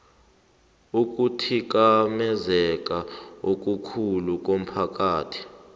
ukuthikamezeka okukhulu komphakathi